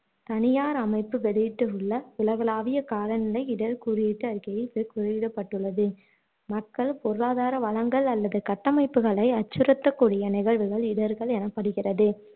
தனியார் அமைப்பு வெளியிட்டுள்ள உகலகளாவிய காலநிலை இடர் குறியீட்டு அறிக்கையில் இவை குறியிடப்பட்டுள்ளது மக்கள் பொருளாதார வளங்கள் அல்லது கட்டமைப்புகளை அச்சுறுத்தக்கூடிய நிகழ்வுகள் இடர்கள் எனப்படுகிறது